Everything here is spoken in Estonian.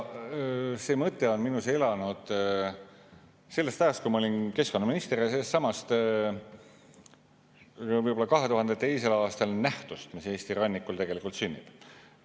See mõte on minus elanud sellest ajast, kui ma olin keskkonnaminister, ja sellestsamast 2002. aastal nähtust, mis Eesti rannikul tegelikult sünnib.